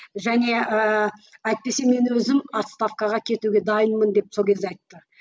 және ііі әйтпесе мен өзім отставкаға кетуге дайынмын деп сол кезде айтты